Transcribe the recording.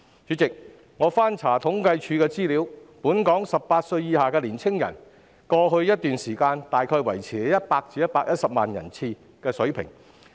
主席，我翻查政府統計處的資料得悉，本港18歲以下年青人的數目在過去一段時間維持在大約100萬至120萬人的水平。